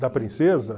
Da princesa?